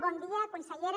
bon dia consellera